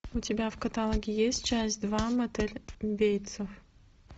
у тебя в каталоге есть часть два мотель бейтсов